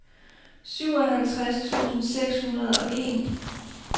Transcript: syvoghalvtreds tusind seks hundrede og en